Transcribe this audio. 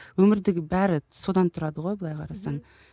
өмірдегі бәрі содан тұрады ғой былай қарасаң мхм